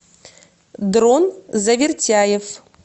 дрон завертяев